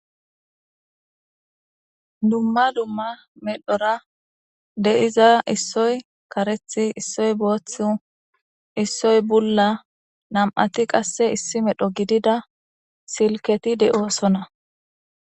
Duma duma medhora de'iza issay karethi, issoy boothu, issoy bulla nam'ati qase issi medho gidida silketi doosona.